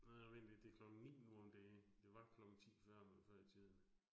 Nej vent lige, det klokken 9 nu om dage, det var klokken 10 før, men før i tiden